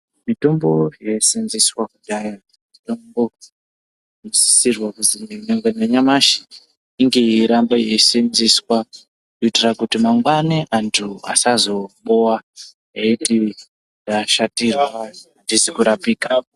Mitombo yaiyi senzeswa kudhaya mitombo inosisirwa kuzwi nyangwe nanyamushi inge yeiramba yeyi senzeswa kuitira kuti antu mangwani asazobowa eti tashatirwa atizi kurapika.